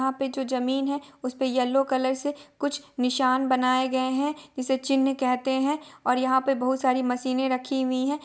यहाँ पे जो जमीन है उसे पर येलो कलर से कुछ निशाना बनाए गए है इस चिन्ह कहते है और यहाँ पर बहुत सारी मशीन रखी हुई है।